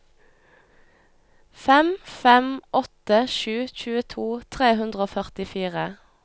fem fem åtte sju tjueto tre hundre og førtifire